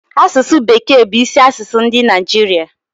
asụsụ bekee bu isi asụsụ ndi Naijiria